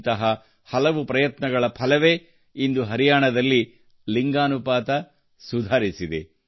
ಇಂತಹ ಹಲವು ಪ್ರಯತ್ನಗಳ ಫಲವೇ ಇಂದು ಹರಿಯಾಣದಲ್ಲಿ ಲಿಂಗ ಅನುಪಾತ ಸುಧಾರಿಸಿದೆ